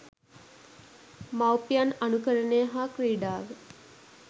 මව්පියන් අනුකරණය හා ක්‍රීඩාව